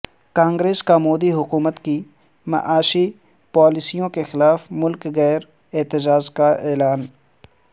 کانگریس کا مودی حکومت کی معاشی پالیسیوں کے خلاف ملک گیر احتجاج کا اعلان